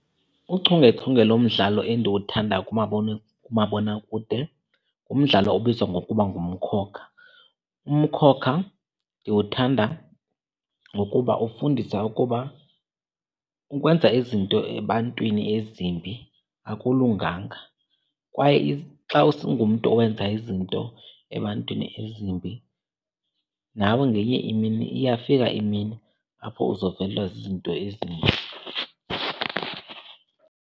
Uchungechunge lomdlalo endiwuthandayo kumabonakude ngumdlalo obizwa ngokuba nguMkhokha. UMkhokha ndiwuthanda ngokuba ufundisa ukuba ukwenza izinto ebantwini ezimbi akulunganga kwaye xa ungumntu owenza izinto ebantwini ezimbi nawe ngenye imini iyafika imini apho uzovelwa zizinto ezimbi.